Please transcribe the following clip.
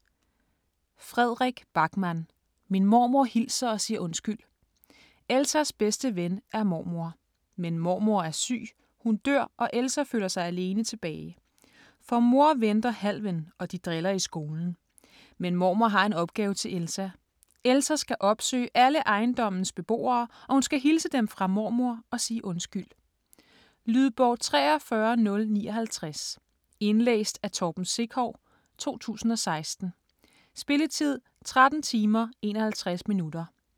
Backman, Fredrik: Min mormor hilser og siger undskyld Elsas bedste ven er mormor. Men mormor er syg, hun dør og Elsa føler sig alene tilbage. For mor venter Halven, og de driller i skolen. Men mormor har en opgave til Elsa. Elsa skal opsøge alle ejendommes beboere, og hun skal hilse dem fra mormor og sige undskyld. Lydbog 43059 Indlæst af Torben Sekov, 2016. Spilletid: 13 timer, 51 minutter.